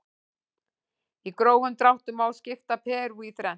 Í grófum dráttum má skipta Perú í þrennt.